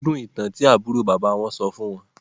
Wọn gbádùn-ún ìtàn tí àbúrò bàbá wọn sọ fún wọn